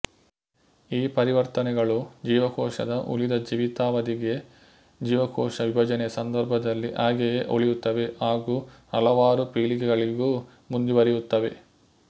ಈ ಪರಿವರ್ತನೆಗಳು ಜೀವಕೋಶದ ಉಳಿದ ಜೀವಿತಾವಧಿಗೆಜೀವಕೋಶ ವಿಭಜನೆಯ ಸಂದರ್ಭದಲ್ಲಿ ಹಾಗೆಯೇ ಉಳಿಯುತ್ತವೆ ಹಾಗೂ ಹಲವಾರು ಪೀಳಿಗೆಗಳಿಗೂ ಮುಂದುವರಿಯುತ್ತವೆ